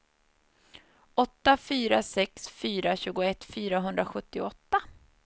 åtta fyra sex fyra tjugoett fyrahundrasjuttioåtta